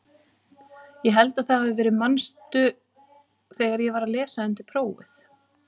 Ég held að það hafi verið manstu þegar ég var að lesa undir prófið?